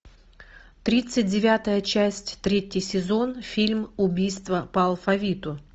тридцать девятая часть третий сезон фильм убийства по алфавиту